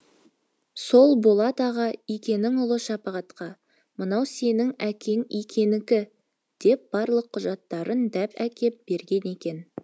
сол болат аға икенің ұлы шапағатқа мынау сенің әкең икенікі деп барлық құжаттарын деп әкеп берген екен